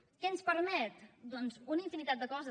què ens permet doncs una infinitat de coses